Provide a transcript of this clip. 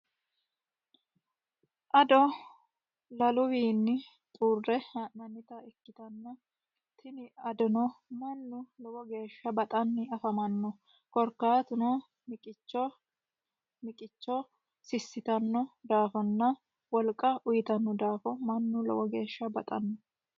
Ado laluwinni xuure ha'nannitta ikkittanna tini adono mannu lowo geeshsha baxani affamano korkaatuno miqicho sisittano daafonna wolqa uyittano daafo mannu lowo geeshsha baxano.